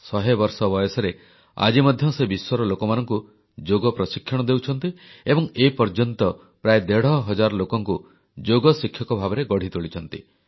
ଶହେବର୍ଷ ବୟସରେ ଆଜି ମଧ୍ୟ ସେ ବିଶ୍ୱର ଲୋକମାନଙ୍କୁ ଯୋଗ ପ୍ରଶିକ୍ଷଣ ଦେଉଛନ୍ତି ଏବଂ ଏପର୍ଯ୍ୟନ୍ତ ପ୍ରାୟ ଦେଢ଼ ହଜାର ଲୋକଙ୍କୁ ଯୋଗ ଶିକ୍ଷକ ଭାବରେ ଗଢ଼ି ତୋଳିଛନ୍ତି